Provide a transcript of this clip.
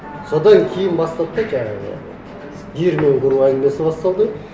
содан кейін басталды да жаңағы диірмен құру әңгімесі басталды